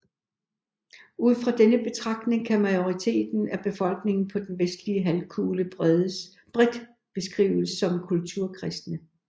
Ud fra denne betragtning kan majoriteten af befolkningen på den vestlige halvkugle bredt beskrives som kulturkristne